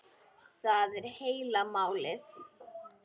Það er heila málið!